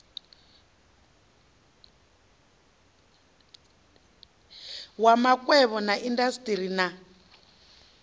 wa makwevho na indasiteri na